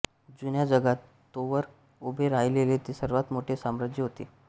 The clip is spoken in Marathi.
जुन्या जगात तोवर उभे राहिलेले ते सर्वांत मोठे साम्राज्य होते